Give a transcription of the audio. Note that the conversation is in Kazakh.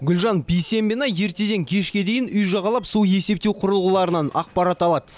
гүлжан бисенбина ертеден кешке дейін үй жағалап су есептеу құрылғыларынан ақпарат алады